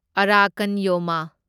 ꯑꯔꯥꯀꯟ ꯌꯣꯃꯥ